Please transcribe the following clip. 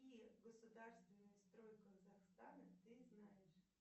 и государственный строй казахстана ты знаешь